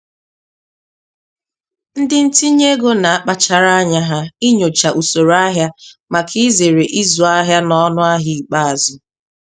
Ndị ntinye ego na-akpachara anya ha inyocha usoro ahịa maka izere ịzụ ahịa n'ọnụahịa ikpeazụ.